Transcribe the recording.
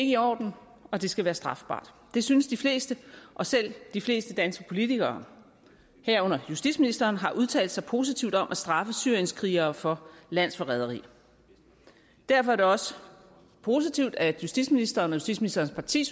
i orden og det skal være strafbart det synes de fleste og selv de fleste danske politikere herunder justitsministeren har udtalt sig positivt om at straffe syrienskrigere for landsforræderi derfor er det også positivt at justitsministeren og justitsministerens parti